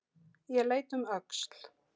Ég leit um öxl.